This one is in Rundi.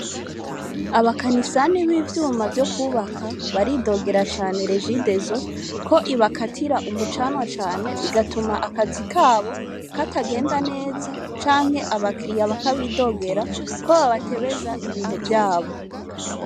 Abakanisani b'ivyuma vyo kwubaka baridogera cane rejidezo ko ibakatira umucanwa cane, bigatuma akazi kabo katagenda neza, canke abakiriya bakabidogera ko babatebeza ibintu vyabo.